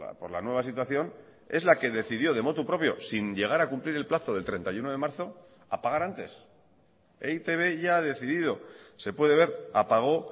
por la nueva situación es la que decidió de motu propio sin llegar a cumplir el plazo del treinta y uno de marzo apagar antes e i te be ya ha decidido se puede ver apagó